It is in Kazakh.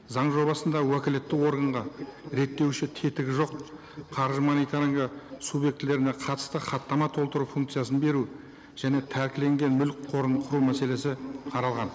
заң жобасында уәкілетті органға реттеуші тетігі жоқ қаржы мониторингі субъектілеріне қатысты хаттама толтыру функциясын беру және тәлкіленген мүлік қорын құру мәселесі қаралған